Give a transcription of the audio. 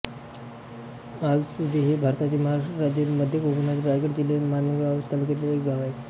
आलसुंदे हे भारतातील महाराष्ट्र राज्यातील मध्य कोकणातील रायगड जिल्ह्यातील माणगाव तालुक्यातील एक गाव आहे